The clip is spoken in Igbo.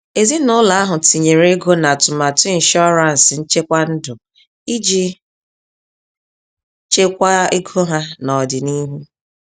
Ezinụlọ ahụ tinyere ego na atụmatụ ịnshụransị nchekwa ndụ iji chekwaa ego ha n'ọdịniihu.